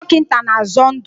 Ndị dọkịta na-azọ ndụ.